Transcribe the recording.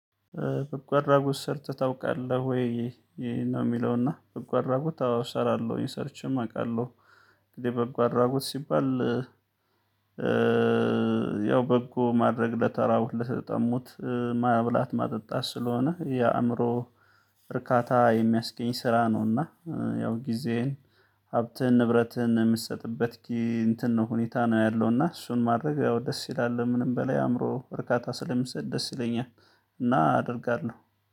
በጎ አድራጎት ሰርተህ ታውቃለህ ወይ? ይሄ ነው የሚለውና በጎ አድራጎት አውሰራለሁ እኔ ሰርቼም አውቃለሁ። እንግዲህ በጎ አድራጎት ሲባል ያው በጎ ማድረግ ለተራቡት ለተጠሙት ማብላት ማጠጣት ስለሆነ የአእምሮ እርካታ የሚያስገኝ ስራ ነውና። ያው ጊዜህን ሀብትህን ንብረትህን የምትሰጥበት እንትን ነው ሁኔታ ነው ያለውና እና እሱን ማድረግ ያው ደስ ይላል ምንም በላይ አእምሮ እርካታ ስለሚሰጥ ደስ ይለኛል። እና አደርጋለሁ